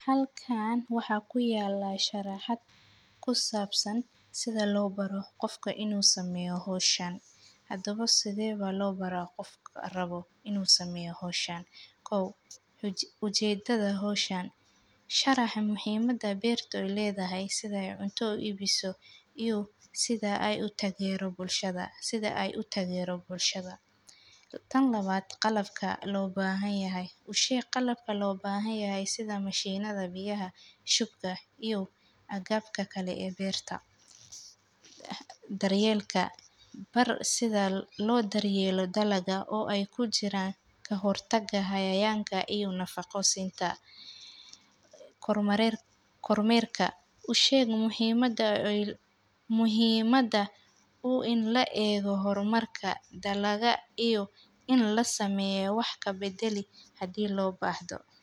Halkan waxaa ku yalaa sharaxad ku sabsan sitha lo baro qofka inu sameyo howshan, hadawa sithee baa lo baraa qofka rawo inu sameyo howshan, kow ujedadha howshan sharaxa muhiimada beerto ee ledahay sithee cunta u ibiso iyo sitha ee utagero bulshaada, tan lawaad qalabka lo bahanyahay, usheeg qalabka lo bahan yahay sitha mashinada biyaha shuba iyo aggabka kalee o beertaa, daryelka baar sidhaa lo daryelo dalaga o ee kujiran kahortaga cayayanka iyo nafaqo sintaa, koor merka u sheeg muhiimada u in laego dalagga iyo in lasameyo wax kabadali karaa hadii lo bahdo.